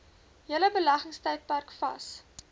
hele beleggingstydperk vas